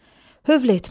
Hövl etmək.